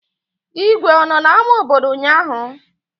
Igwe ọ nọ n'ámá obodo ụnyaahụ?